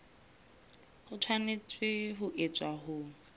e tshwanetse ho etswa ho